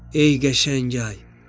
Ey qəşəng ay!